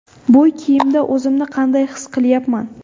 Bu kiyimda o‘zimni qanday his qilyapman?